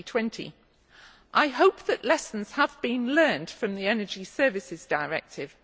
2020. I hope that lessons have been learned from the Energy Services Directive.